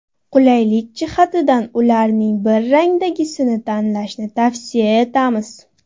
Qulaylik jihatidan ularning bir rangdagisini tanlashni tavsiya etamiz.